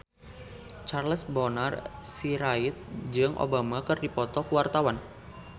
Charles Bonar Sirait jeung Obama keur dipoto ku wartawan